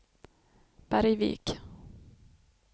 Bergvik